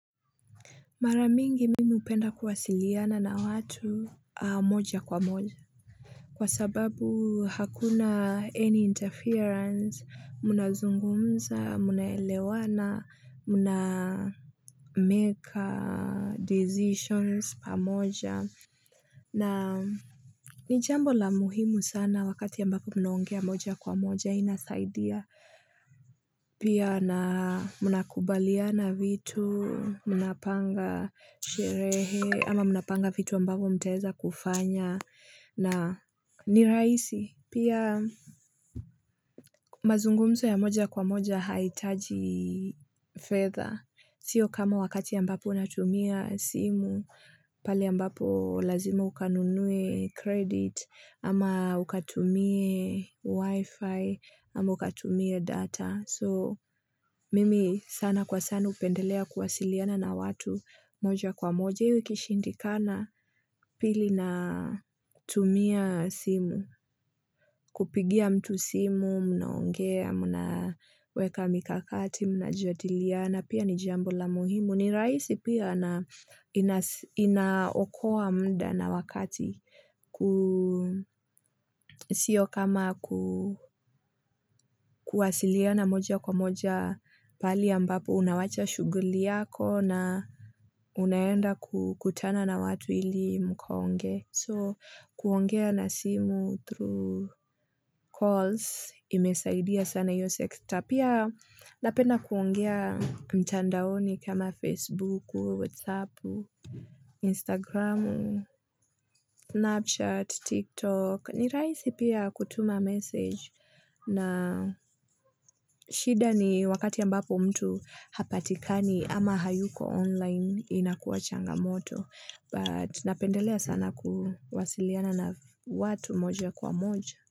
Mara mingi mimi hupenda kuwasiliana na watu moja kwa moja. Kwa sababu hakuna any interference, mnazungumza, mnaelewana, mna make decisions pamoja. Na ni jambo la muhimu sana wakati ambapo mnaongea moja kwa moja inasaidia. Pia na mnakubaliana vitu, mnapanga sherehe, ama mnapanga vitu ambavo mtaeza kufanya na nirahisi. Pia mazungumzo ya moja kwa moja haitaji fedha. Sio kama wakati ambapo unatumia simu, pale ambapo lazimo ukanunue credit, ama ukatumie wifi, ama ukatumie data. So mimi sana kwa sana hupendelea kuwasiliana na watu moja kwa moja hiyo ikishindikana pili na tumia simu, kupigia mtu simu, mnaongea, mnaweka mikakati, mnajadiliana pia ni jambo la muhimu. Ni rahisi pia na inasi inaokoa mda na wakati ku sio kama ku kuwasiliana moja kwa moja pahali ambapo unawacha shughuli yako na unaenda kukutana na watu ili mkaongee. So, kuongea na simu through calls, imesaidia sana hiyo sekta. Pia, napenda kuongea mtandaoni kama Facebook, Whatsapp, Instagram, Snapchat, TikTok. Ni rahisi pia kutuma message na shida ni wakati ambapo mtu hapatikani ama hayuko online inakuwa changamoto. But napendelea sana kuwasiliana na watu moja kwa moja.